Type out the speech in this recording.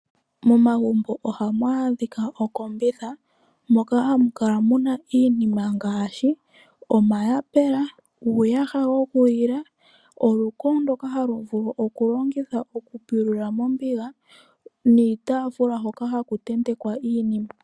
Momagumbo ohamu adhika ookombitha moka hamu kala mu na iinima ngaashi omayapula, uuyaha wokulila, oluko ndoka halu vulu okulongitha okupulula mombiga niitafula hoka ha ku tentekwa iinima.